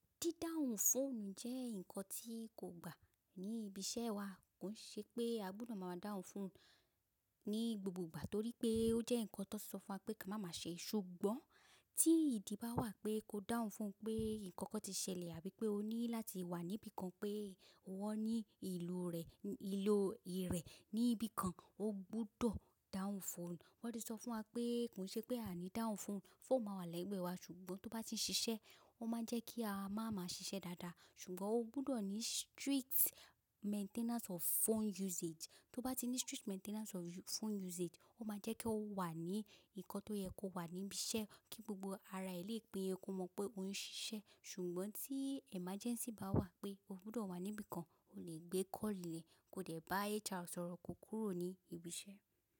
Dídáhun fóònù jẹ́ nǹkan tí kò gbà ní ibi iṣẹ́ wa. Kò n ṣe pé agbódò máa dáhun fóònù ní gbogbo ìgbà torí pé ó jẹ́ nǹkan tí wón sọ fún wa pé ká máa ma ṣe. Ṣùgbọ́n tí ìdí bá wà pé ko dáhun fóònù pé nǹkan kan ti ṣẹlẹ̀ àbí pé o ní láti wà níbi kan pé wọn ní ìlò rẹ, ìlò rẹ̀ níbi kan, o gbúdọ̀ dáhun fóònù. Wọ́n ti sọ fún wa pé kò ṣe pé a ní dáhun fóònù, fóònù máa wà lẹ́gbẹ́ wa ṣùgbọ́n tó bá ti ṣiṣẹ́, ó máa jẹ́ kí a máa ma ṣiṣẹ́ dáadáa. Ṣùgbọ́n o gbúdọ̀ ní strict maintenance of phone usage. Tó bá ti ní strict maintenance of phone usage, ó máa jẹ́ kí ó wà ní nǹkan tó yẹ kó wà níbi iṣẹ́ kí gbogbo ara e lé péye kó mọ̀ pé òun ṣiṣẹ́. Ṣùgbọ́n tí emergency bá wà pé o gbúdọ̀ wà níbi kan, o lè gbé call ẹ̀, ko dẹ̀ bá HR sọ̀rọ̀ ko kúrò ní ibi iṣẹ́.